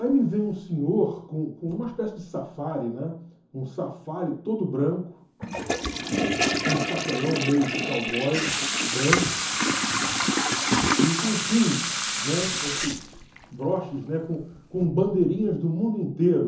Aí me vem um senhor com com uma espécie de safari, um safari todo branco, com um chapelão meio de cowboy branco e com pins, né, esses broches, né, com com bandeirinhas do mundo inteiro.